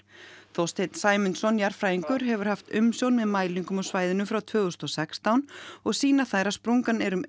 Þorsteinn Sæmundsson jarðfræðingur hefur haft umsjón með mælingum á svæðinu frá tvö þúsund og sextán og sýna þær að sprungan er um